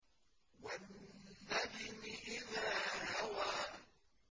وَالنَّجْمِ إِذَا هَوَىٰ